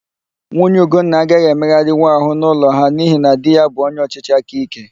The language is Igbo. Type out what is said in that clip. Nwunye Ugonna agaghị emegharịnwu àhụ́ n'ụlọ ha n'ihi na di ya bụ onyeọchịchị aka íké.